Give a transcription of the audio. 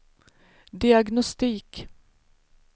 diagnostik